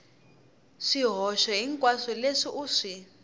swihoxo hinkwaswo leswi u swi